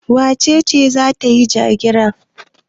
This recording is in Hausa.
Wace ce za ta yi ja-gira?